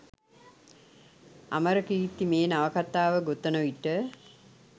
අමරකීර්ති මේ නවකතාව ගොතන විට